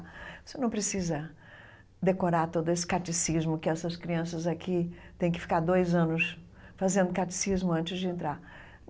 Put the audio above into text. Você não precisa decorar todo esse catecismo que essas crianças aqui têm que ficar dois anos fazendo catecismo antes de entrar.